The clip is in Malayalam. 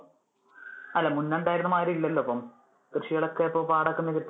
അല്ല മുന്നേ ഉണ്ടായിരുന്ന മാതിരി ഇല്ലല്ലോ ഇപ്പോൾ. കൃഷികൾ ഒക്കെ ഇപ്പൊ പാടം ഒക്കെ നികത്തി